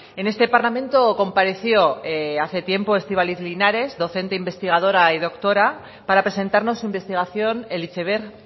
en este parlamento compareció hace tiempo estíbaliz linares docente investigadora y doctora para presentarnos su investigación el iceberg